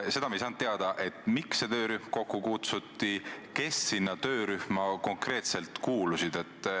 Meile jäi arusaamatuks, miks see töörühm kokku kutsuti ja kes sellesse töörühma konkreetselt kuulusid.